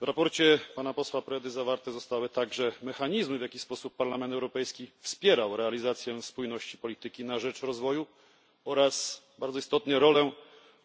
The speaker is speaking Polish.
W sprawozdaniu posła Predy zawarte zostały również mechanizmy, w jaki sposób Parlament Europejski wspierał realizację spójności polityki na rzecz rozwoju oraz bardzo istotną rolę